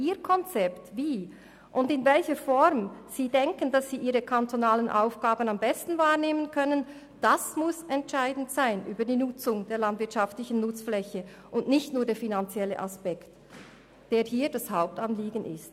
Das Konzept und die Form, in welcher die kantonalen Aufgaben am besten wahrgenommen werden können, müssen für die Nutzung der landwirtschaftlichen Nutzfläche entscheidend sein und nicht nur der finanzielle Aspekt, der hier das Hauptanliegen ist.